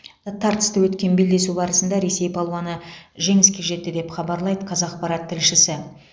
тартысты өткен белдесу барысында ресей палуаны жеңіске жетті деп хабарлайды қазақпарат тілшісі